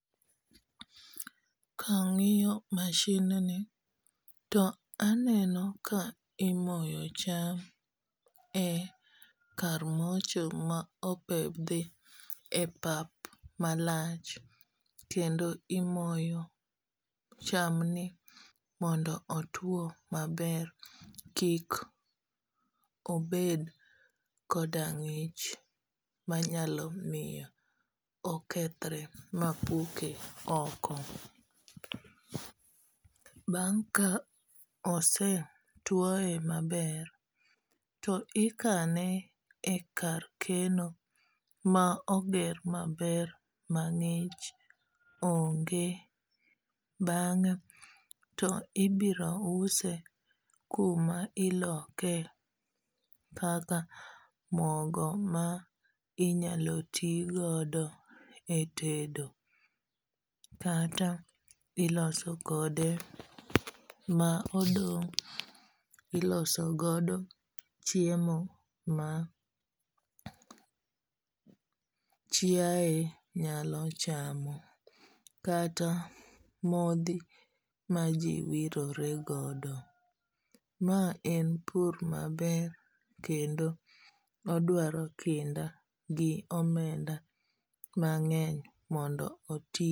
Ka ang'iyo machine ni to aneno ka imoyo cham e kar mocho ma opedhi e pap malach, kendo imoyo chamni mondo otwo maber, kik obed koda ng'ich manyalo miyo okethore ma puke oko. Bang' ka osetwoye maber, to ikane e kar keno ma oger maber ma ng'ich onge, bang'e to ibiro use kuma iloke kaka mogo ma inyalo ti godo e tedo. Kata iloso kode ma odong' iloso godo chiemo ma chiae nyalo chamo. Kata modhi ma ji wirore godo. Ma en pur maber kendo odwaro kinda gi omenda mang'eny mondo oti.